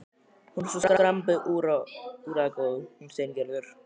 Hún er svo skrambi úrræðagóð, hún Steingerður.